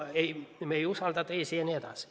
Me ei usalda teisi.